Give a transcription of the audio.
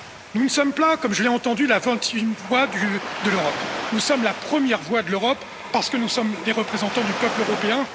Nous ne sommes pas, comme je l'ai entendu, la vingt huitième voix de l'Europe, nous sommes la première voix de l'Europe parce que nous sommes les représentants du peuple européen.